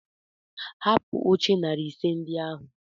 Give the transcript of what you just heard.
Hapụ oche narị ise ndị ahụ!